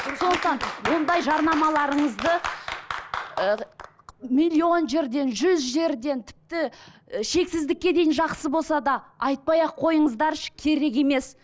сондықтан ондай жарнамаларыңызды ы миллион жерден жүз жерден тіпті і шексіздікке дейін жақсы болса да айтпай ақ қойыңыздаршы керек емес